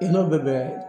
I n'o bɛ bɛn